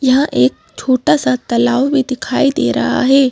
यहां एक छोटा सा तालाव भी दिखाई दे रहा है।